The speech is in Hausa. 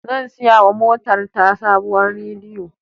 Zan siyawa motar ta sabuwar radiyon.